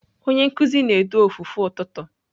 Onye nkuzi na-edu ofufe ụtụtụ.